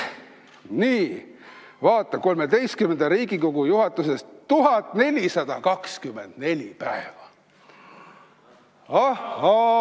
Vaata, XIII Riigikogu juhatuses 1424 päeva!